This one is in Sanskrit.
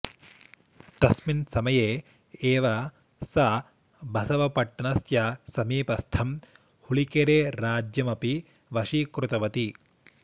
तस्मिन् समये एव सा बसवपट्टणस्य समीपस्थं हुलिकेरेराज्यम् अपि वशीकृतवती